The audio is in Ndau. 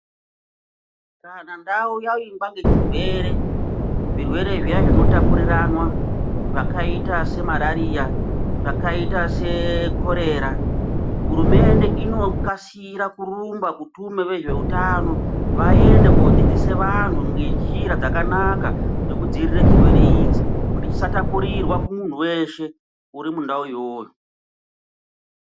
Kana ndau yavingwa ngechirwere, zvirwere zviya zvinotapuriranwa zvakaita semarariya, zvakaita sekorera hurumende inokasira kurumba kutume vezveutano vayende kodzidzise vanhu ngenjira dzakanaka dzekudzivirire chirwere ichi kuti chisatapurirwa kumuntu weshe urimundau iyoyo.